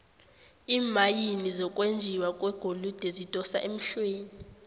iimayini zokwenjiwa kwegolide zidosa emhlweni